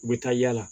U bɛ taa yala